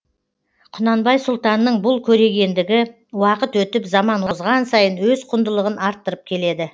құнанбай сұлтанның бұл көрегендігі уақыт өтіп заман озған сайын өз құндылығын арттырып келеді